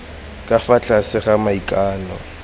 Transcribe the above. ka fa tlase ga maikano